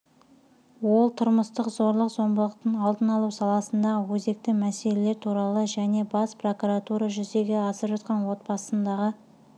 ол тұрмыстық зорлық-зомбылықтың алдын алу саласындағы өзекті мәселелер туралы және бас прокуратура жүзеге асырып жатқан отбасындағы